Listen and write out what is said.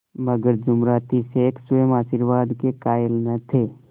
मगर जुमराती शेख स्वयं आशीर्वाद के कायल न थे